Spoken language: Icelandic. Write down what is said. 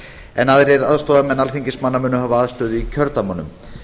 en aðrir aðstoðarmenn alþingismanna munu hafa aðstöðu í kjördæmunum